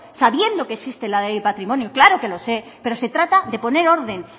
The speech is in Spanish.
sabiendo que existe la ley de patrimonio claro que lo sé pero se trata de poner orden